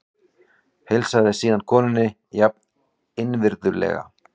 Heilsaði síðan konunni jafn innvirðulega.